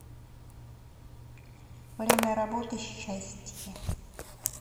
время работы щастье